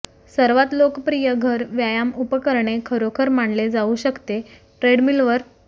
सर्वात लोकप्रिय घर व्यायाम उपकरणे खरोखर मानले जाऊ शकते ट्रेडमिलवर